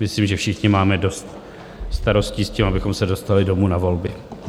Myslím, že všichni máme dost starostí s tím, abychom se dostali domů na volby.